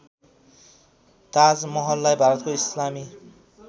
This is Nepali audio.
ताजमहललाई भारतको इस्लामी